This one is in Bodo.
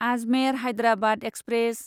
आजमेर हायद्राबाद एक्सप्रेस